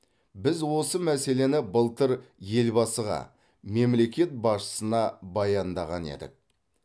біз осы мәселені былтыр елбасыға мемлекет басшысына баяндаған едік